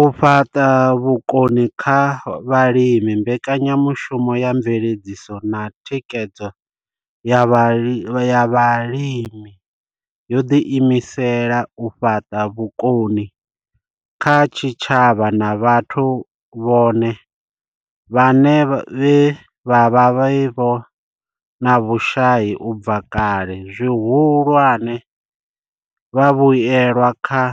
U fhaṱa vhukoni kha vhalimi mbekanyamushumo ya mveledziso na thikhedzo ya Vhalimi yo ḓi imisela u fhaṱa vhukoni kha tshitshavha na vhathu vhone vhaṋe vhe vha vha vhe na vhushai u bva kale, zwihulwane, vhavhuelwa kha